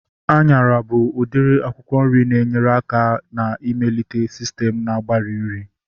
Anyara bụ udiri akwụkwọ nri na-enyere aka na-ịmelite sistem na-agbari nri